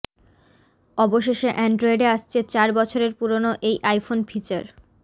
অবশেষে অ্যানড্রয়েডে আসছে চার বছরের পুরনো এই আইফোন ফিচার